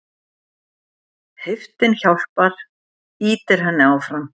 Heiftin hjálpar, ýtir henni áfram.